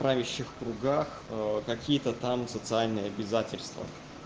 правящих кругах какие-то там социальные обязательства